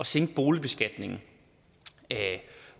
sænke boligbeskatningen